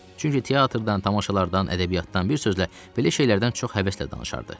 Çünki teatrdan, tamaşalardan, ədəbiyyatdan bir sözlə belə şeylərdən çox həvəslə danışardı.